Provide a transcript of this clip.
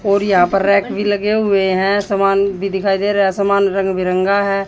और यहां पर रेक भी लगे हुए हैं समान भी दिखाई दे रहा है समान रंग बिरंगा है।